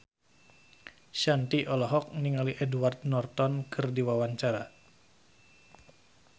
Shanti olohok ningali Edward Norton keur diwawancara